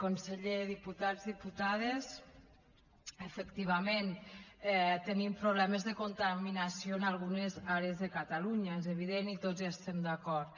conseller diputats diputades efectivament tenim problemes de contaminació en algunes àrees de catalunya és evident i tots hi estem d’acord